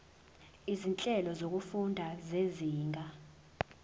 izinhlelo zokufunda zezinga